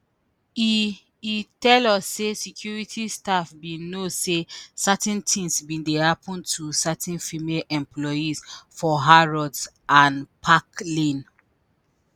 e e tell us say security staff “bin know say certain things bin dey happen to certain female employees for harrods and park lane”.